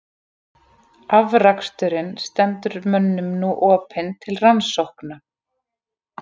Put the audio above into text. Afraksturinn stendur mönnum nú opinn til rannsókna.